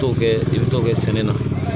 T'o kɛ i bɛ t'o kɛ sɛnɛ na